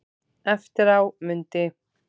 Eftir á mundi